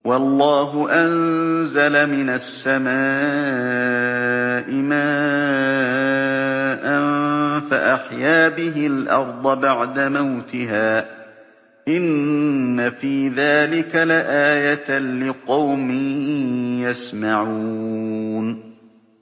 وَاللَّهُ أَنزَلَ مِنَ السَّمَاءِ مَاءً فَأَحْيَا بِهِ الْأَرْضَ بَعْدَ مَوْتِهَا ۚ إِنَّ فِي ذَٰلِكَ لَآيَةً لِّقَوْمٍ يَسْمَعُونَ